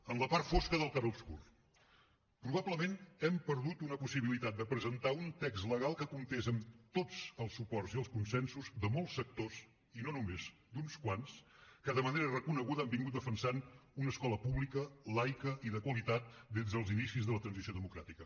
en la part fosca del clarobscur probablement hem perdut una possibilitat de presentar un text legal que comptés amb tots els suports i els consensos de molts sectors i no només d’uns quants que de manera reconeguda han defensat una escola pública laica i de qualitat des dels inicis de la transició democràtica